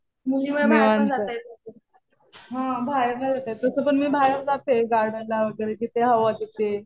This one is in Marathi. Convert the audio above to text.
निवांत. हा बाहेर नाही जाता येतं. तसं पण मी जाते गार्डनला वगैरे. जिथे हवं तिथे.